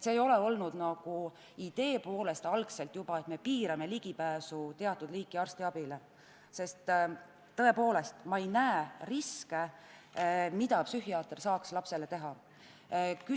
Sellist ideed algselt ei olnud, et piirame teatud liiki arstiabi kättesaadavust, sest ma tõepoolest ei näe riske, mida psühhiaatri külastus võiks lapsele kaasa tuua.